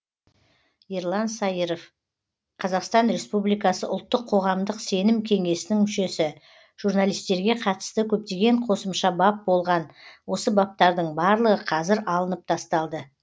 ерлан саиров қазақстан республикасы ұлттық қоғамдық сенім кеңесінің мүшесі журналистерге қатысты көптеген қосымша бап болған осы баптардың барлығы қазір алынып тасталды